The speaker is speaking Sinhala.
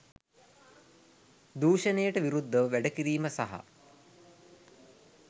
දුෂණයට විරුද්ධව වැඩ කිරීම සහ